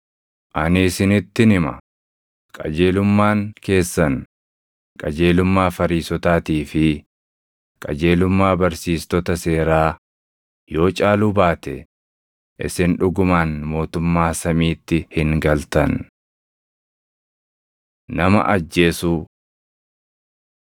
Ani isinittin hima; qajeelummaan keessan qajeelummaa Fariisotaatii fi qajeelummaa barsiistota seeraa yoo caaluu baate isin dhugumaan mootummaa samiitti hin galtan. Nama Ajjeesuu 5:25,26 kwf – Luq 12:58,59